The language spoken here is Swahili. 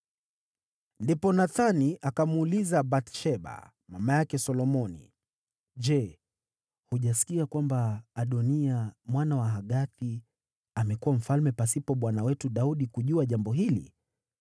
Ndipo Nathani akamuuliza Bathsheba, mama yake Solomoni, “Je, hujasikia kwamba Adoniya, mwana wa Hagithi, amekuwa mfalme pasipo bwana wetu Daudi kujua jambo hili?